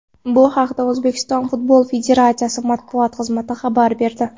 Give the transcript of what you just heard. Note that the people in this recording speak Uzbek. Bu haqda O‘zbekiston Futbol Federatsiyasi matbuot xizmati xabar berdi .